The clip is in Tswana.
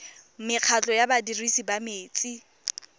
mekgatlho ya badirisi ba metsi